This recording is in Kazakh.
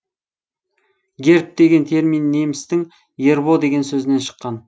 герб деген термин немістің ербо деген сөзінен шыққан